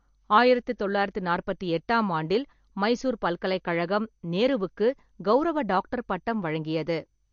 ஆயிரத்து தொள்ளாயிரத்து நாற்பத்தி எட்டாம் ஆண்டில், மைசூர் பல்கலைக்கழகம் நேருவுக்கு கெளரவ டாக்டர் பட்டம் வழங்கியது.